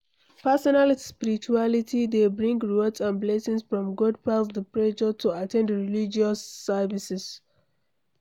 Personal spirituality de bring rewards and blessings from God pass di pressure to at ten d religious services